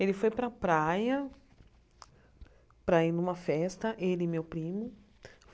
Ele foi para a praia para ir a uma festa, ele e meu primo.